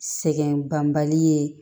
Sɛgɛn banbali ye